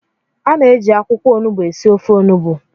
A na-eji akwụkwọ onugbu esi ofe Onugbu